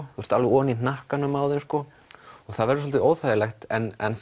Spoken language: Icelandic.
þú ert alveg ofan í hnakkanum á þeim og það verður svolítið óþægilegt en